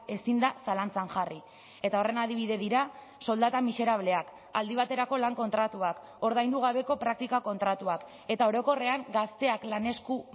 ezin da zalantzan jarri eta horren adibide dira soldata miserableak aldi baterako lan kontratuak ordaindu gabeko praktika kontratuak eta orokorrean gazteak lan esku